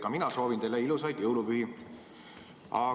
Ka mina soovin teile ilusaid jõulupühi!